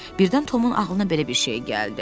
Birdən Tomun ağlına belə bir şey gəldi.